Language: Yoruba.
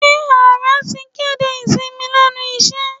Ṣé ààrẹ ti kéde ìsinmi lẹ́nu iṣẹ́?